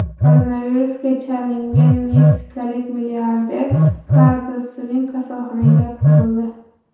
Koronavirusga chalingan meksikalik milliarder Karlos Slim kasalxonaga yotqizildi.